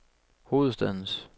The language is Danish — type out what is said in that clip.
hovedstadens